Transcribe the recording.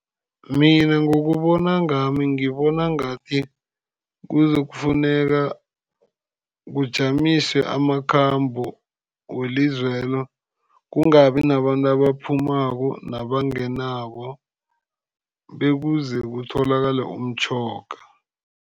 Mina ngokubona ngami, ngibona ngathi kuzokufuneka kujamiswe amakhambo welizwelo. Kungabi nabantu abaphumako nabangenako, bekuze kutholakale umtjhoga.